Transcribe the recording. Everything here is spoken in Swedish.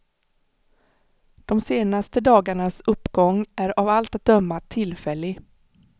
De senaste dagarnas uppgång är av allt att döma tillfällig.